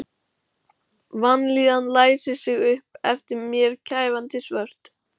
Vanlíðanin læsir sig upp eftir mér kæfandi svört.